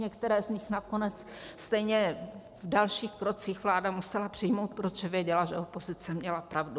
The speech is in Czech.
Některé z nich nakonec stejně v dalších krocích vláda musela přijmout, protože věděla, že opozice měla pravdu.